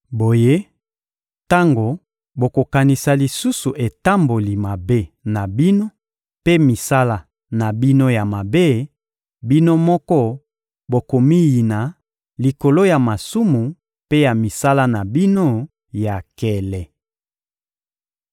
Boye, tango bokokanisa lisusu etamboli mabe na bino mpe misala na bino ya mabe, bino moko bokomiyina likolo ya masumu mpe ya misala na bino ya nkele.